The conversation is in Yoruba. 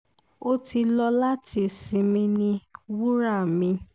ó ti lọ láti sinmi ní wura mi